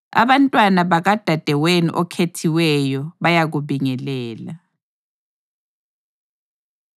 Abantwana bakadadewenu okhethiweyo bayakubingelela.